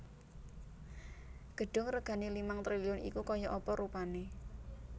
Gedung regane limang triliun iku koyok apa rupane